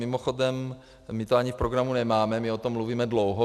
Mimochodem my to ani v programu nemáme, my o tom mluvíme dlouho.